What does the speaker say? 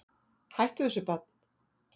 Hættu þessu barn!